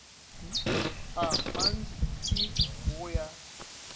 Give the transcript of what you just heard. a mant i go ya